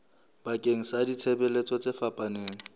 bakeng sa ditshebeletso tse fapaneng